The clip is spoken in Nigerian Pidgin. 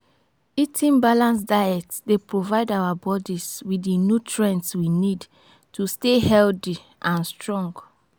eating balanced diet dey provide our bodies with di nutrients we need to stay healthy and strong.